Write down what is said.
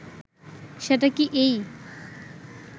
সেটা কি এই